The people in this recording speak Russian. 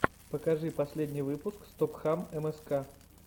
покажи последний выпуск стопхам мск